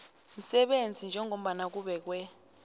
msebenzi njengombana kubekwe